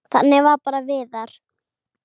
Þannig var bara Viðar.